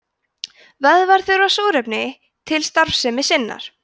vöðvar þurfa súrefni til starfsemi sinnar